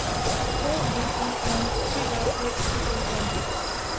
O V E R T R Æ D E R